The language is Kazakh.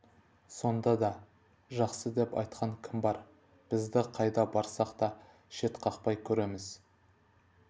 сонда да жақсы деп айтқан кім бар бізді қайда барсақ та шетқақпай көреміз